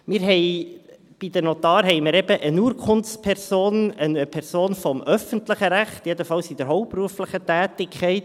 Wir haben bei den Notaren eben eine Urkundsperson, eine Person des öffentlichen Rechts, jedenfalls in der hauptberuflichen Tätigkeit.